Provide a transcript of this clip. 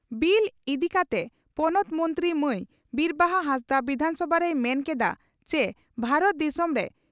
bill ᱤᱫᱤ ᱠᱟᱛᱮ ᱯᱚᱱᱚᱛ ᱢᱚᱱᱛᱨᱤ ᱢᱟᱹᱭ ᱵᱤᱨᱵᱟᱦᱟ ᱦᱟᱸᱥᱫᱟ ᱵᱤᱫᱷᱟᱱᱥᱚᱵᱷᱟ ᱨᱮᱭ ᱢᱮᱱ ᱠᱮᱫᱼᱟ ᱪᱮ ᱵᱷᱟᱨᱚᱛ ᱫᱤᱥᱚᱢ ᱨᱮ